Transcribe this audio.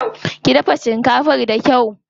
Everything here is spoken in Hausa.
Ki dafa shinkafar da kyau.